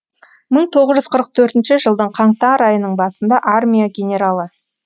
мың тоғыз жүз қырық төртінші жылдың каңтар айының басында армия генералы